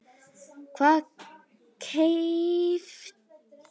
Hvar kaupir þú helst föt?